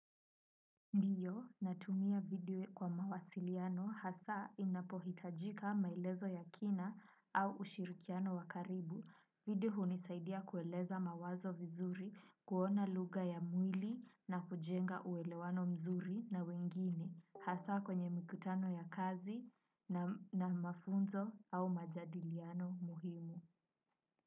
Ndiyo, natumia video kwa mawasiliano hasa inapohitajika maelezo ya kina au ushirikiano wa karibu. Video hunisaidia kueleza mawazo vizuri, kuona lugha ya mwili na kujenga uelewano mzuri na wengine. Hasa kwenye mikutano ya kazi na mafunzo au majadiliano muhimu.